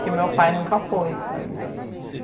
que o meu pai nunca foi, sabe?